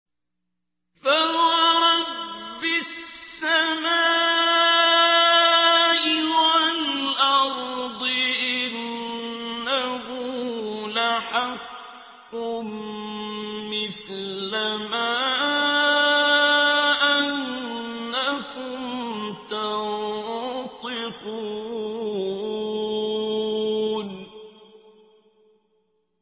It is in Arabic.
فَوَرَبِّ السَّمَاءِ وَالْأَرْضِ إِنَّهُ لَحَقٌّ مِّثْلَ مَا أَنَّكُمْ تَنطِقُونَ